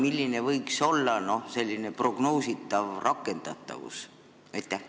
Milline võiks olla prognoositav rakendatavus?